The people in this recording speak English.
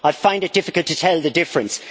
I find it difficult to tell the difference.